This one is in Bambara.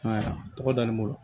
tɔgɔ da ne bolo